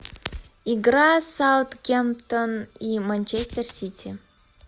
игра саутгемптон и манчестер сити